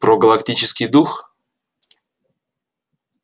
про галактический дух